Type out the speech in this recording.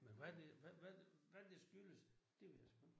Men hvad det hvad hvad hvad det skyldes det ved jeg sgu ikke